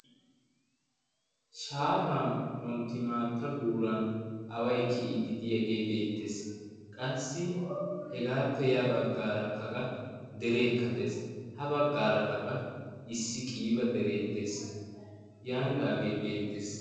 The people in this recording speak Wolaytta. shaafan wontti maatta guuran awai ki''iidi diyaagee beettees qassi hegaappe ya baggaaraka qa dereekka dees ha baggaara kaqa issi qiiba dereed dees yaanidaagee beettees